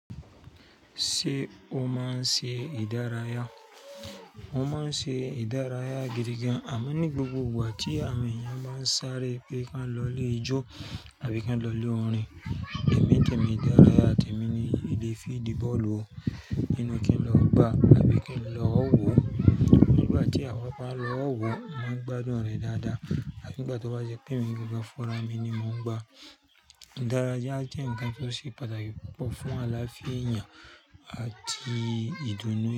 Ṣé ó máa ń ṣe ìdárayá? Ó máa ń ṣe ìdárayá gidi gan, àmọ́ ní gbogbo ìgbà tí àwọn èèyàn máa ń sáré pé kí wọ́n lọ lé ijó àbí kí wọ́n lọ lé orin, èmi temi idaraya temi ni ìdí fídí bọ́ọ̀lù, ninu kí n lọ gbá àbí kí n lọ wò. Nígbà tí àwa n ba lọ wò, mo máa ń gbádùn rẹ̀ dáadáa àti nígbà tó bá jẹ́ pé mi gbígbọ́ funrá mì ni mo ń gbá. Ìdárayá jẹ́ nnkan tó ṣe pàtàkì púpọ̀ fún alááfía èèyàn àti ìdúnnu.